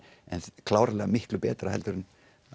er klárlega miklu betra heldur en